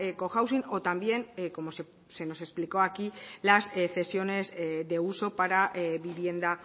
cohousing o también como se nos explicó aquí las cesiones de uso para vivienda